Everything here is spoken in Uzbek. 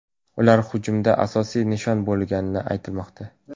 Ular hujumda asosiy nishon bo‘lmagani aytilmoqda.